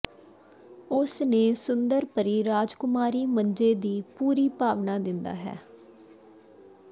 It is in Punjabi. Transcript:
ਉਸ ਨੇ ਸੁੰਦਰ ਪਰੀ ਰਾਜਕੁਮਾਰੀ ਮੰਜੇ ਦੀ ਪੂਰੀ ਭਾਵਨਾ ਦਿੰਦਾ ਹੈ